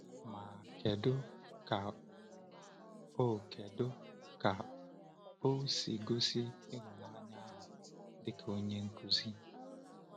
Ma, kedu ka o kedu ka o si gosi ịhụnanya ahụ dị ka onye nkuzi?